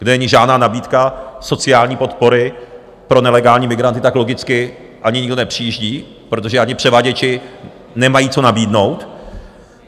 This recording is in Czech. Kde není žádná nabídka sociální podpory pro nelegální migranty, tak logicky ani nikdo nepřijíždí, protože ani převaděči nemají co nabídnout.